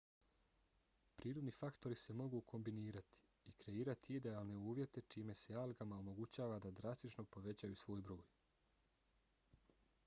prirodni faktori se mogu kombinirati i kreirati idealne uvjete čime se algama omogućava da drastično povećaju svoj broj